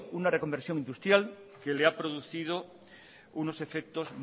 una reconversión industrial que le ha producido unos efectos